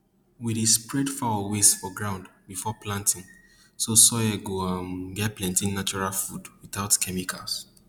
we dey spread fowl waste for ground before planting so soil go um get plenti natural food without chemicals